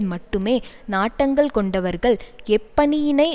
மட்டுமே நாட்டங்கள் கொண்டவர்கள் எப்பணியினை